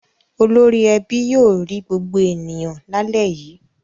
Olórí ẹbí yóò rí gbogbo ènìyàn lálẹ́ yìí.